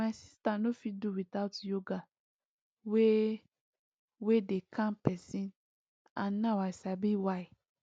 my sister no fit do without yoga wey wey dey calm person and now i sabi why